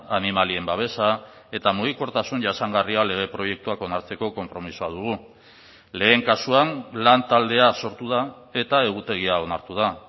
animalien babesa eta mugikortasun jasangarria lege proiektuak onartzeko konpromisoa dugu lehen kasuan lantaldea sortu da eta egutegia onartu da